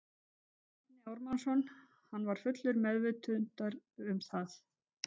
Bjarni Ármannsson: Hann var fullur meðvitaður um það?